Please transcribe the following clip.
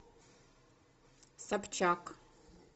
собчак